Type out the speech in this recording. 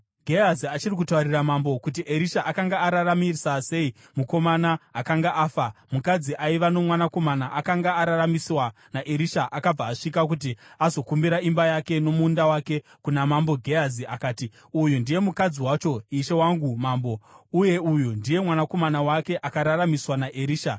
Gehazi achiri kutaurira mambo kuti Erisha akanga araramisa sei mukomana akanga afa, mukadzi aiva nomwanakomana akanga araramiswa naErisha akabva asvika kuti azokumbira imba yake nomunda wake kuna mambo. Gehazi akati, “Uyu ndiye mukadzi wacho, ishe wangu mambo, uye uyu ndiye mwanakomana wake akararamiswa naErisha.”